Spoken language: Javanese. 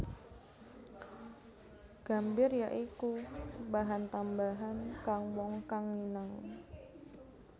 Gambir ya iku bahan tambahan kang wong kang nginang